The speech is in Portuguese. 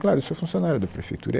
Claro, eu sou funcionário da prefeitura.